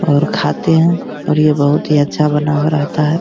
और खाते हैं और ये बहुत ही अच्छा बना हुआ रहता है।